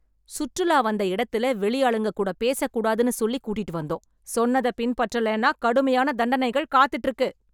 சுற்றுலா வந்த இடத்துல வெளி ஆளுங்க கூட பேசக் கூடாதுன்னு சொல்லி கூட்டிட்டு வந்தோம். சொன்னத பின்பற்றலேன்னா கடுமையான தண்டனைகள் காத்துட்டு இருக்கு.